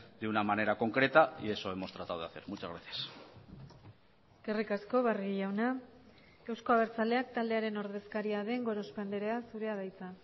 de una manera concreta y eso hemos tratado de hacer muchas gracias eskerrik asko barrio jauna eusko abertzaleak taldearen ordezkaria den gorospe andrea zurea da hitza